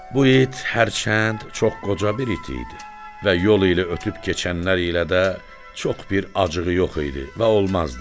Bu it hərçənd çox qoca bir it idi və yol ilə ötüb keçənlər ilə də çox bir acığı yox idi və olmazdı.